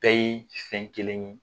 Bɛɛ ye fɛn kelen ye.